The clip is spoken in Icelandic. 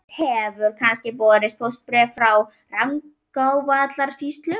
Hefur kannski borist póstbréf úr Rangárvallasýslu?